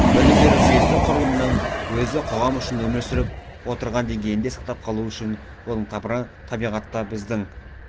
білім беру жүйесі құрылымының өзі қоғам үшін өмір сүріп отырған деңгейінде сақтап қалу үшін оның тамыры табиғатта біздің